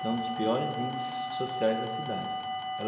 Tem um dos piores índices sociais da cidade.